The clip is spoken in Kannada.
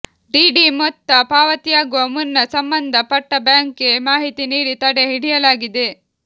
ಡಿಡಿ ಮೊತ್ತ ಪಾವತಿಯಾಗುವ ಮುನ್ನ ಸಂಬಂಧ ಪಟ್ಟಬ್ಯಾಂಕ್ಗೆ ಮಾಹಿತಿ ನೀಡಿ ತಡೆ ಹಿಡಿಯಲಾಗಿದೆ